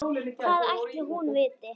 Hvað ætli hún viti?